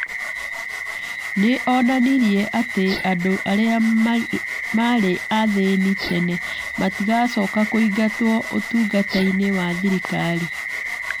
Nĩ onanirie atĩ andũ arĩa maarĩ athĩni tene matigacoka kũingatwo ũtungata-inĩ wa thirikari.